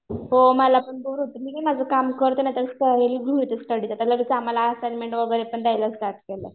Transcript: हो मला पण बोर होतं मी काय करते माझं घेते स्टडीला त्याला कसं आम्हाला वगैरे पण द्यायला स्टार्ट केलंय.